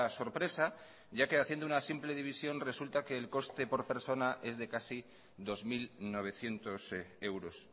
sorpresa ya que haciendo una simple división resulta que el coste por persona es de casi dos mil novecientos euros